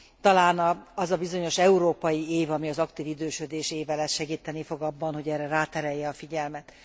Talán az a bizonyos európai év, ami az aktív idősödés éve lesz segíteni fog abban, hogy erre ráterelje a figyelmet.